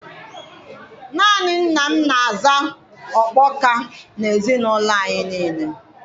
Naanị nna m na-aza okpoka na ezinụlọ anyị nile